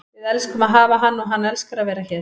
Við elskum að hafa hann og hann elskar að vera hér.